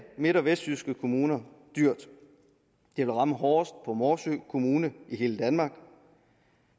midt og vestjyske kommuner dyrt det vil ramme hårdest for morsø kommune i hele danmark